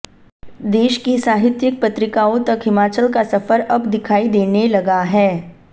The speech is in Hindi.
देश की साहित्यिक पत्रिकाओं तक हिमाचल का सफर अब दिखाई देने लगा है